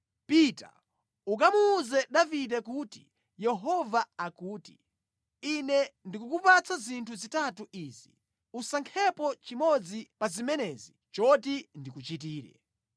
“Pita ukamuwuze Davide kuti, ‘Yehova akuti, Ine ndikukupatsa zinthu zitatu izi. Usankhepo chimodzi pa zimenezi choti ndikuchitire.’ ”